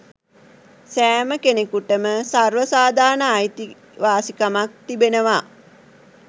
සෑම කෙනකුටම සර්ව සාධාරණ අයිතිවාසිකමක් තිබෙනවා